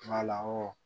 Wala